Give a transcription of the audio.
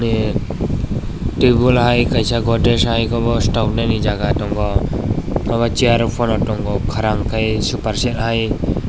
ah tebol hai kaisa godrej hai obo stoknani jaga tongo obo chair rok pono tongo korang ke super set hai.